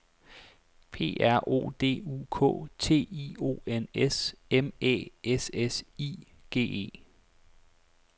P R O D U K T I O N S M Æ S S I G E